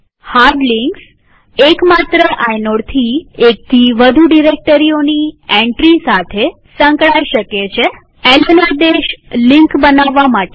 hard links એક માત્ર આઇનોડથી એકથી વધુ ડિરેક્ટરીઓની એન્ટ્રી સાથે સંકળાય શકે છેln આદેશ લિંક બનાવવા માટે છે